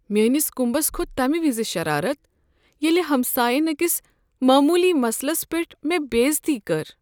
میٲنس كُمبس كھوٚت تمہ وز شرارت ییٚلہ ہمساین أکس معموٗلی مسلس پٮ۪ٹھ مےٚ بےعزتی کٔر۔